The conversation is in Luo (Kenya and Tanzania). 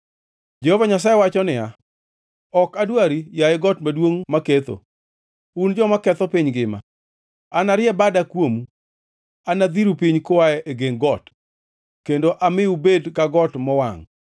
Jehova Nyasaye wacho niya, “Ok adwari, yaye got maduongʼ maketho, un joma ketho piny ngima. Anarie bada kuomu, anadhiru piny kua e geng got, kendo ami ubed ka got mowangʼ.”